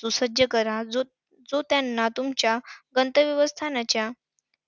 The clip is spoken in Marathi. सुसज्ज करा, जो त्यांना तुमच्या गंतव्यस्थानाच्या